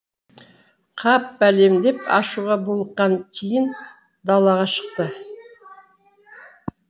қап бәлем деп ашуға булыққан тиін далаға шықты